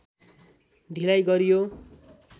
ढिलाइ गरियो